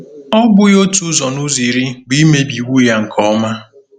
Ọ bụghị otu ụzọ n'ụzọ iri bụ imebi iwu ya nke ọma.